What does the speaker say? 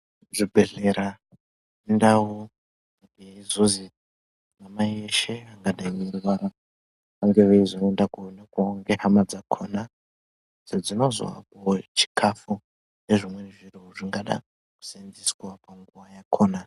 Zvibhedhlera indau yekuzozi meshe mangadai meirwara vange veizoendawo koonekwa nehama dzakona idzo dzinozopuwe chikafu nezvimweni zviro zvingadawo kuseenzeswa panguwa yakona.